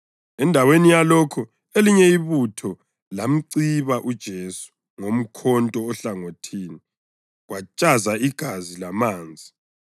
Endaweni yalokho elinye ibutho lamciba uJesu ngomkhonto ohlangothini, kwantshaza igazi lamanzi.